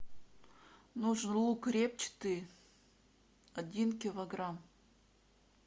нужен лук репчатый один килограмм